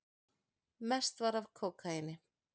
Mest var af kókaíni.